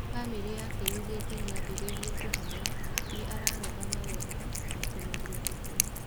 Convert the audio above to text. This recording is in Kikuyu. Bamĩrĩ yake yugĩte nĩambĩrĩirie kũhona, nĩ ararũgama wega na kũmeria irio.